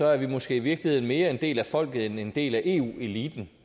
er vi måske i virkeligheden mere en del af folket end en del af eu eliten